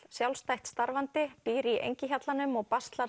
sjálfstætt starfandi býr í Engihjallanum og